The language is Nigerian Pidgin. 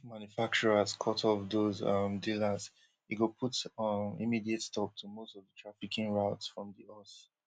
if manufacturers cut off those um dealers e go put um immediate stop to most of di trafficking routes from di us